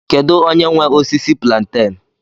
Kedu onye nwe osisi plantain?